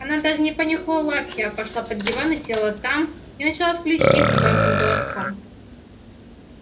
она даже не понюхала лапки а пошла под диван и села там и начала скулить тихо тонким голоском